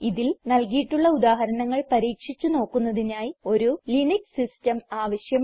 ഇതിൽ നൽകിയിട്ടുള്ള ഉദാഹരണങ്ങൾ പരീക്ഷിച്ച് നോക്കുന്നതിനായി ഒരു ലിനക്സ് സിസ്റ്റം ആവശ്യമാണ്